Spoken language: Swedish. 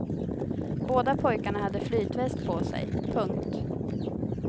Båda pojkarna hade flytväst på sig. punkt